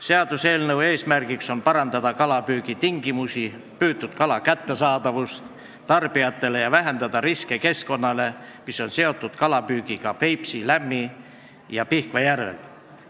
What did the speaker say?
Seaduseelnõu eesmärk on parandada kalapüügi tingimusi ja püütud kala kättesaadavust tarbijatele ning vähendada keskkonnariske, mis on seotud kalapüügiga Peipsi, Lämmi- ja Pihkva järvel.